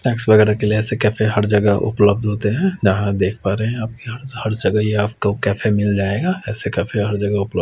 वगेरा के लिए असे कैफ़े हर जगह उपलब्ध होते है जहाँ देख पा रहे आप यहाँ हर जगह ये आपको कैफ़े मिल जाएगा ऐसे कैफ़े हर जगा उपल--